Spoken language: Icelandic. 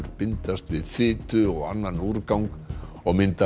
bindast við fitu og annan úrgang og mynda